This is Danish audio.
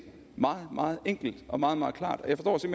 meget meget enkelt og meget meget klart jeg forstår